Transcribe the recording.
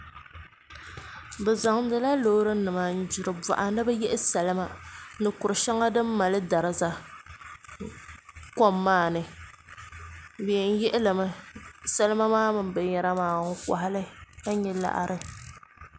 Bi zaŋdila loori nima n gbiri boɣa ni bi yihi salima ni kuri shɛŋa din mali dariza kom maa ni bi yɛn yihilimi salima maa mini binyɛra maa n kohali ka nyɛ laɣari